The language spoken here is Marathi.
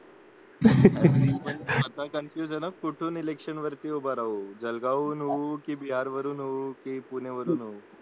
आता कन्फ्युजन की कुठून इलेक्शन वरती उभा राहू जळगावहून होवू बिहार वरून होवू की पुण्याहून होवू